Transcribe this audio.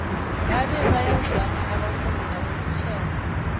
ngabe bayazwana abafundi nabotitjhere